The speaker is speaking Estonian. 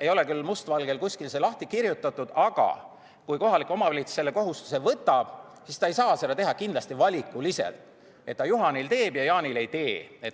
ei ole küll must valgel kuskil lahti kirjutatud, aga kui kohalik omavalitsus selle kohustuse võtab, siis ta kindlasti ei saa seda täita valikuliselt, et ta Juhanil teeb ja Jaanil ei tee.